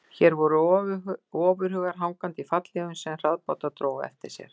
Hér voru ofurhugar hangandi í fallhlífum sem hraðbátar drógu á eftir sér.